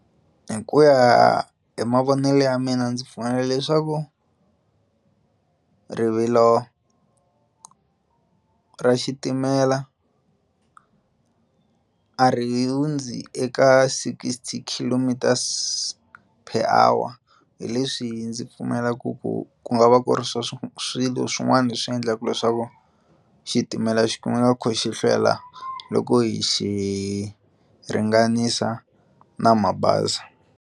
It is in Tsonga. Hi ku ya hi mavonelo ya mina ndzi pfuna leswaku rivilo ra xitimela a ri hundzi eka sixty kilometres per hour hi leswi ndzi pfumelaka ku ku nga va ku ri swo swilo swin'wana leswi endlaka leswaku xitimela xi kumeka xi kho xi hlwela loko hi xihi ringanisa na mabazi.